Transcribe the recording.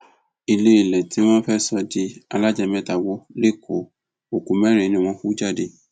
iléèlé tí wọn fẹẹ sọ di alájà mẹta wò lẹkọọ òkú mẹrin ni wọn hú jáde